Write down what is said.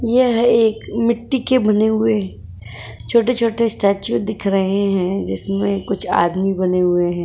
यह एक मिट्टी के बने हुए छोटे छोटे स्टेच्यू दिख रहे हैं जिसमें कुछ आदमी बने हुए हैं।